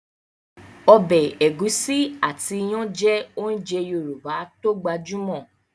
Ọbẹ̀ ẹ̀gúsí àti iyán jẹ́ ounjẹ Yorùbá tó gbajúmọ̀